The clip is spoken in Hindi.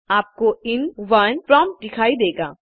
इसके बाद आपको In1 प्रॉम्प्ट दिखाई देगा